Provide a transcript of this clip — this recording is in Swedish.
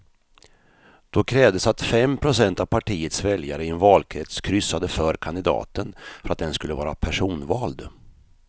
Då krävdes att fem procent av partiets väljare i en valkrets kryssade för kandidaten för att den skulle vara personvald.